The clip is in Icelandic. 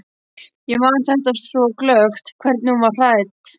Ég man þetta svo glöggt, hvernig hún var klædd.